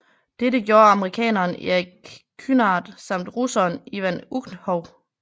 Dette gjorde amerikaneren Erik Kynard samt russeren Ivan Ukhov